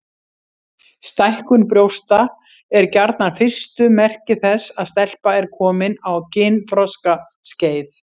Stækkun brjósta er gjarnan fyrstu merki þess að stelpa er komin á kynþroskaskeið.